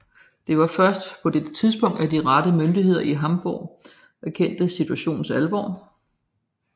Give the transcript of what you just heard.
Det var først på dette tidspunkt at de rette myndigheder i Hamborg erkendte situationens alvor